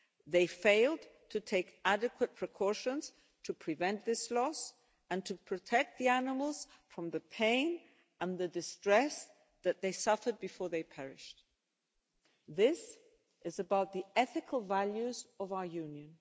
They failed to take adequate precautions to prevent this loss and to protect the animals from the pain and the distress that they suffered before they perished. This is about the ethical values of our Union.